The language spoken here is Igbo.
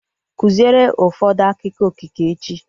Kụziere ụfọdụ akụkọ okike echi!